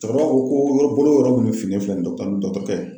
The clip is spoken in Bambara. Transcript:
Cɔkɔrɔba ko ko bolo yɔrɔ munnu finnen filɛ nin dɔkitɔri dɔkitɔrikɛ